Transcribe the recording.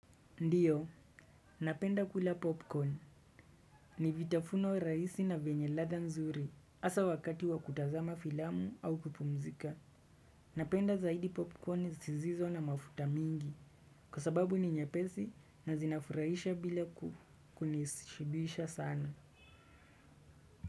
Ndiyo, napenda kula popcorn. Ni vitafuno rahisi na venye ladha nzuri, hasa wakati wa kutazama filamu au kupumzika. Napenda zaidi popcorn zizizo na mafuta mingi, kwa sababu ni nyepesi na zinafurahisha bila kukunishibisha sana.